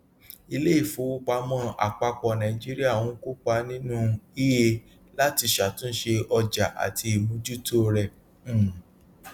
iléifowopamọ àpapọ naijiria ń kópa nínú ie láti ṣàtúnṣe ọjà àti ìmójútó rẹ um